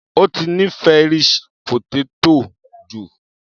Ó ti nífẹ̀ẹ́ Irish potato jù.